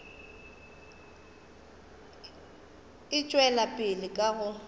e tšwela pele ka go